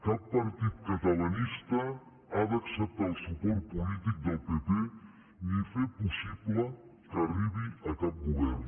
cap partit catalanista ha d’acceptar el suport polític del pp ni fer possible que arribi a cap govern